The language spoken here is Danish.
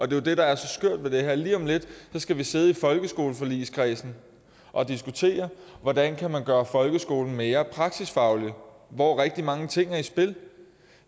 jo det der er så skørt ved det her lige om lidt skal vi sidde i folkeskoleforligskredsen og diskutere hvordan man kan gøre folkeskolen mere praksisfaglig hvor rigtig mange ting er i spil